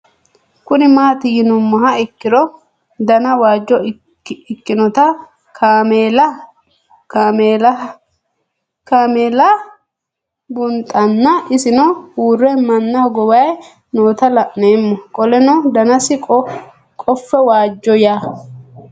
Kuni mati yinumoha ikiro Dana waajo ikinota kaamelah bunxana isino uure manna hogowayi noota la'nemo qoleno danasi qofe wajjo yaa